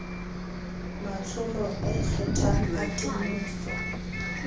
matsholo a ikgethang a temoso